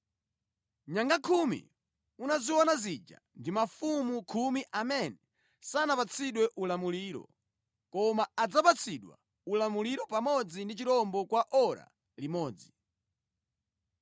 “Nyanga khumi unaziona zija ndi mafumu khumi amene sanapatsidwe ulamuliro, koma adzapatsidwa ulamuliro pamodzi ndi chirombo kwa ora limodzi.